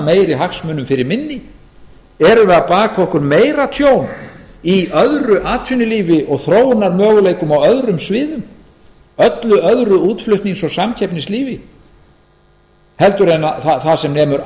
meiri hagsmunum fyrir minni erum við að baka okkur meira tjón í öðru atvinnulífi og þróunarmöguleikum á öðrum sviðum öllu öðru útflutnings og samkeppnislífi heldur en það sem nemur